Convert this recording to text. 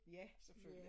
Ja selvfølglig